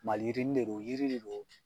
Maliyirinin de do, yiri de don.